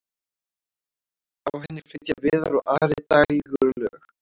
á henni flytja viðar og ari dægurlög